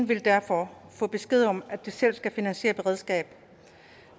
vil derfor få besked om at de selv skal finansiere beredskab